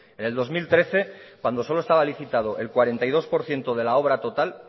en el dos mil trece cuando solo estaba licitado el cuarenta y dos por ciento de la obra total